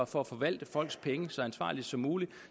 for at forvalte folks penge så ansvarligt som muligt